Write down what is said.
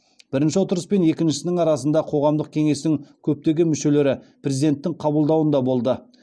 бірінші отырыс пен екіншісінің арасында қоғамдық кеңестің көптеген мүшелері президенттің қабылдауында болды